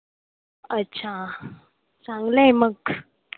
अच्छा. चांगलं आहे मग.